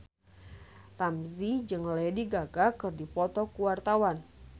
Ramzy jeung Lady Gaga keur dipoto ku wartawan